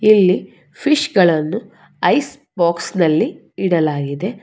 ಇಲ್ಲಿ ಫಿಶ್ಗಳನ್ನು ಐಸ್ ಬಾಕ್ಸಲ್ಲಿ ಇಡಲಾಗಿದೆ.